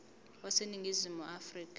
wase ningizimu afrika